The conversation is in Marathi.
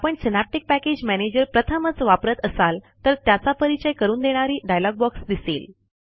आपण सिनॅप्टिक पॅकेज मॅनेजर प्रथमच वापरत असाल तर त्याचा परिचय करून देणारी डायलॉग बॉक्स दिसेल